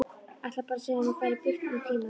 Ætlar bara að segja að hún fari burt um tíma.